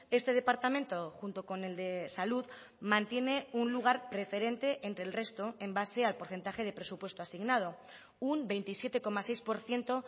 este departamento junto con el de salud mantiene un lugar preferente entre el resto en base al porcentaje de presupuesto asignado un veintisiete coma seis por ciento